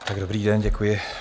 Dobrý den, děkuji.